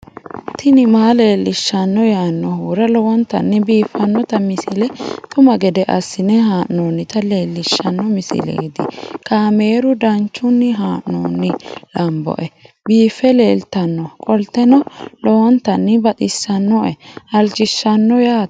tini maa leelishshanno yaannohura lowonta biiffanota misile xuma gede assine haa'noonnita leellishshanno misileeti kaameru danchunni haa'noonni lamboe biiffe leeeltannoqolten lowonta baxissannoe halchishshanno yaate